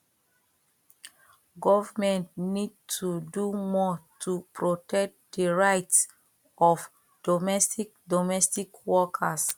government need to do more to protect di rights of domestic domestic workers